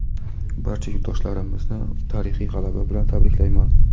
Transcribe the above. Barcha yurtdoshlarimizni tarixiy g‘alaba bilan tabriklayman!.